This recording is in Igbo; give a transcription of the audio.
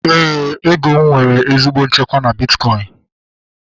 Éè, ego m nwere ezigbo nchekwa na bitkọin